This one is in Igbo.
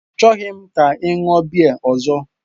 Achọghị m ka ị ṅụọ biya ọzọ!